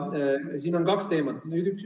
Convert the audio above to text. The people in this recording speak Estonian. Siin on kaks teemat.